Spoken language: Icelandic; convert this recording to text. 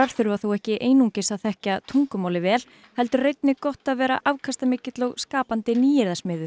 þurfa þó ekki einungis að þekkja tungumálið vel heldur er einnig gott að vera afkastamikill og skapandi